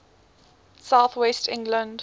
south west england